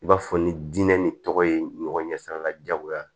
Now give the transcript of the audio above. I b'a fɔ ni diinɛ ni tɔgɔ ye ɲɔgɔn ɲɛ sira la diyagoya